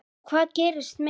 Og það gerðist meira.